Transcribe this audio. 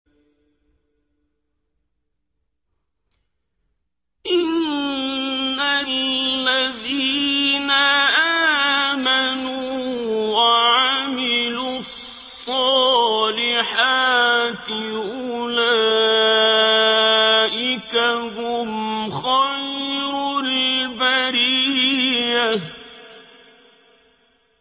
إِنَّ الَّذِينَ آمَنُوا وَعَمِلُوا الصَّالِحَاتِ أُولَٰئِكَ هُمْ خَيْرُ الْبَرِيَّةِ